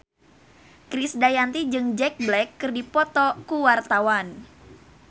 Krisdayanti jeung Jack Black keur dipoto ku wartawan